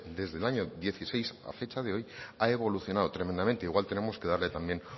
desde el año dieciséis a fecha de hoy ha evolucionado tremendamente igual tenemos que darle también